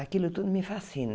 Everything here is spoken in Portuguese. Aquilo tudo me fascina.